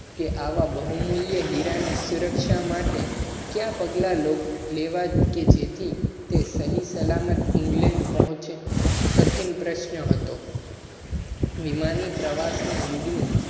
આવા બહુ મૂલ્ય હીરા ની સુરક્ષા માટે ક્યાં પગલાં લેવા? સહી સલામત england પોહ્ચે. કઠિન પ્રશ્ન હતો. વિમાની પ્રવાસ ના યોગ